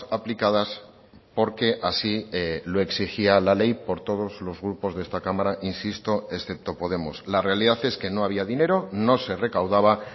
aplicadas porque así lo exigía la ley por todos los grupos de esta cámara insisto excepto podemos la realidad es que no había dinero no se recaudaba